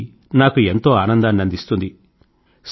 ఇది నాకు ఎంతో ఆనందాన్ని అందిస్తుంది